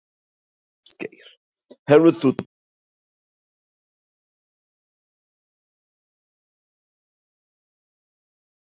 Ásgeir: Hefur þú talað við áhöfnina um þetta mál á síðustu klukkutímum?